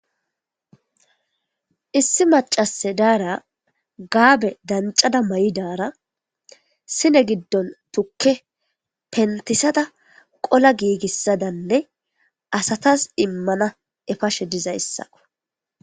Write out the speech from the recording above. issi macase daara gaabe dancada may7i daara sine giddon tukke pentisada qola giigissadanne asatas immana efashe dizay issako